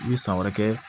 I bɛ san wɛrɛ kɛ